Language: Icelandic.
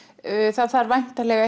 það þarf væntanlega